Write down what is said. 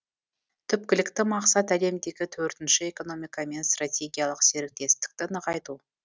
түпкілікті мақсат әлемдегі төртінші экономикамен стратегиялық серіктестікті нығайту